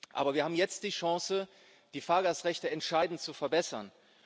Aber wir haben jetzt die Chance, die Fahrgastrechte entscheidend zu verbessern.